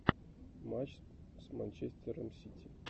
матч с манчестером сити